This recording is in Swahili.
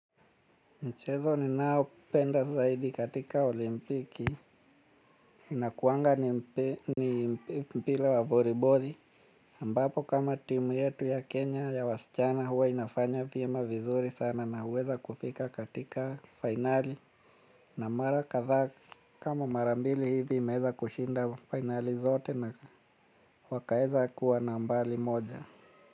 Mchezo ninaopenda zaidi katika olimpiki. Inakuanga ni mpira wa volibori ambapo kama timu yetu ya Kenya ya wasichana huwa inafanya vyema vizuri sana na huweza kufika katika finali. Na mara kadhaa kama mara mbili hivi imeeza kushinda finali zote na wakaeza kuwa nambari moja.